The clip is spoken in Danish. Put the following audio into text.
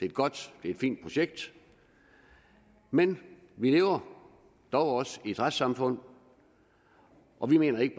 et godt det er et fint projekt men vi lever dog også i et retssamfund og vi mener ikke